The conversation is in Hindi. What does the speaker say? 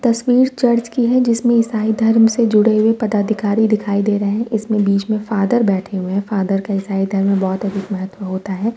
तस्वीर चर्च की है जिसमे ईसाई धर्म से जुड़े हुए पदाधिकारी दिखाई दे रहे है। इसमे बीच मे फादर बैठे हुए है फादर का ईसाई धर्म मे बहुत अधिक महत्व होता है।